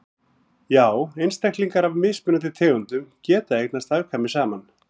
já einstaklingar af mismunandi tegundum geta eignast afkvæmi saman